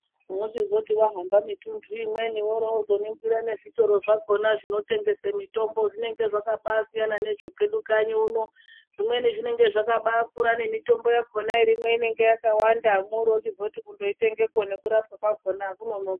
Wochizoti wahamba mituntu imweni worozoningira nezvitoro zvinotengese mitombo zvinenge zvakaba siyana nezvekanyi uno. Zvimweni zvinenge zvakabakura nemitombo yakona irimwo inenge yakawanda mwochizoti kundoitengepo nekurapwa akunonoki.